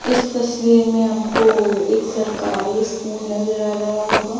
इस तस्वीर में आपको एक सरकारी स्कूल नजर आ रहा होगा।